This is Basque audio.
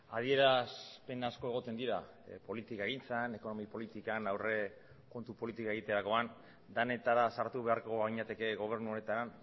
adierazpen asko egoten dira politikagintzan ekonomi politikan aurrekontu politika egiterakoan denetara sartu beharko ginateke gobernu honetan